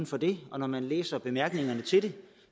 for det og når man læser bemærkningerne til det